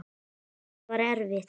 En það var erfitt.